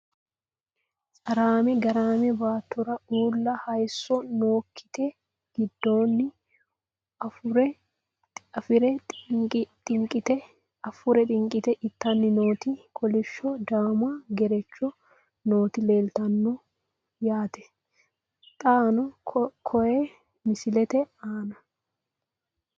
Caraamme, garaamme , baattora uulla hayiisso nookkitte giddonni afuure xinqitte ittanni nootti kolishsho daamma gereechcho nootti leelittanno yaatte xaanno koye misilette aanna